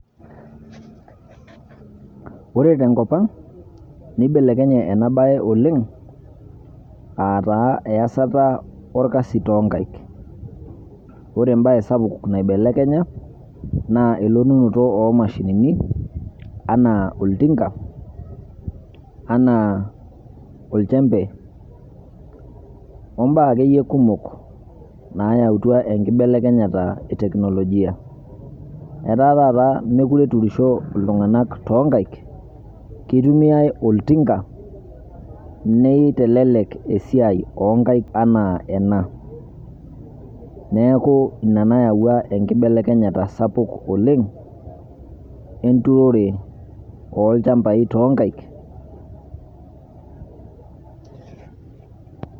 Ore te nkopang neibelekenye ena baye oleng aataa iesata orkasi tonkaik, ore embaye sapuk naibelekenya naa elotunoto oomashinini anaa oltinga, anaa olchembe ombaa ake iyie kumok naayautwa enkibelekenyeta etekinelojia. Etaa taata meekure eturusho ltunganak too inkaik, keitumiya oltinga neitelelek esiaai onkaik enaa ena, neaku in anewua enkibelekenyata sapuk oleng enturore oolchambai tonkaik.